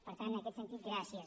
per tant en aquest sentit gràcies